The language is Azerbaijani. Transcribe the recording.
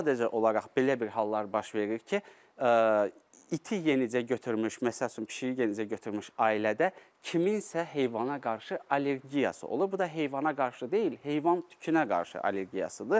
Sadəcə olaraq belə bir hallar baş verir ki, iti yenicə götürmüş, məsəl üçün, pişiyi yenicə götürmüş ailədə kimsə heyvana qarşı allergiyası olur, bu da heyvana qarşı deyil, heyvan tükünə qarşı allergiyasıdır.